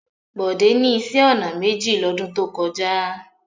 Bọ̀dé ní iṣẹ́-ọnà méjì lọ́dún tó kọjá.